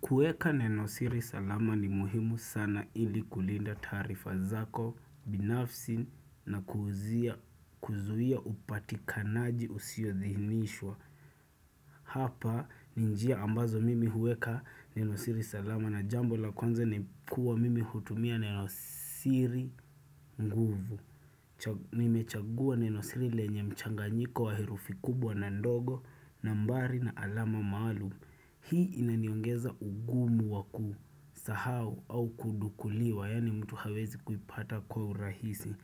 Kueka neno siri salama ni muhimu sana ili kulinda taarifa zako binafsi na kuuzia kuzuia upatikanaji usiyodhinishwa. Hapa ni njia ambazo mimi hueka neno siri salama na jambo la kwanza ni kuwa mimi hutumia neno siri nguvu. Nimechagua neno siri lenye mchanganyiko wa herufi kubwa na ndogo nambari na alama maalum. Hii inaniongeza ugumu wa kusahau au kudukuliwa, yaani mtu hawezi kuipata kwa urahisi.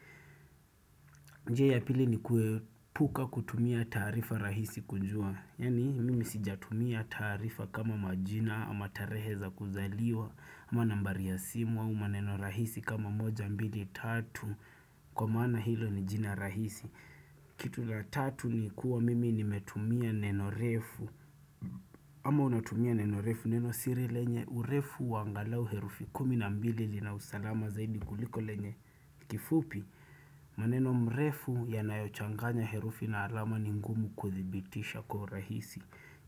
Njia ya pili ni kuepuka kutumia taarifa rahisi kujua, yaani mimi sijatumia taarifa kama majina ama tarehe za kuzaliwa, ama nambari ya simu au maneno rahisi kama moja mbili tatu, kwa maana hilo ni jina rahisi. Kitu la tatu ni kuwa mimi nimetumia neno refu ama unatumia neno refu neno siri lenye urefu wa angalau herufi kumi na mbili lina usalama zaidi kuliko lenye kifupi maneno mrefu yanayochanganya herufi na alama ni ngumu kuthibitisha kwa rahisi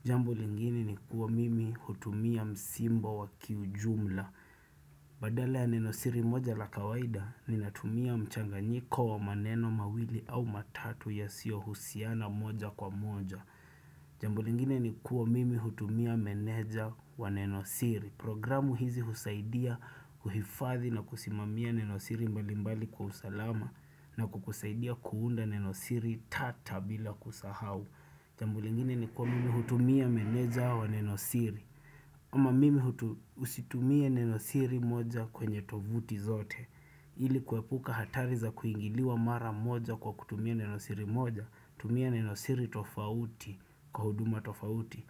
Jambo lingine ni kuwa mimi hutumia msimbo wa kiujumla Badala ya Neno siri moja la kawaida ninatumia mchanganyiko wa maneno mawili au matatu yasio husiana moja kwa moja. Jambo lingine ni kuwa mimi hutumia meneja wa Neno siri. Programu hizi husaidia kuhifadhi na kusimamia Neno siri mbalimbali kwa usalama na kukusaidia kuunda Neno siri tata bila kusahau. Jambu lingine ni kuwa mimi hutumia menedja wa nenosiri. Kama mimi usitumie neno siri moja kwenye tovuti zote ili kuepuka hatari za kuingiliwa mara moja kwa kutumia neno siri moja tumia neno siri tofauti kwa huduma tofauti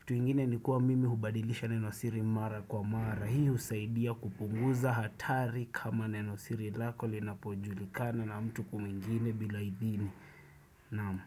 Kitu ingine ni kuwa mimi hubadilisha neno siri mara kwa mara Hii usaidia kupunguza hatari kama neno siri lako linapojulikana na mtu ku mwingine bila idhini Naam.